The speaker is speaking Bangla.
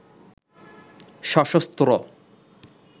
সশস্ত্র